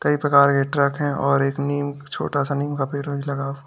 कई प्रकार के ट्रक है और एक नीम छोटा सा नीम का पेड़ वेड़ लगा हुआ--